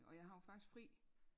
Og jeg har jo faktisk fri